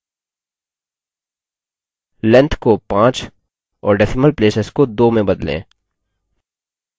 length को 5 और decimal places को 2 में बदलें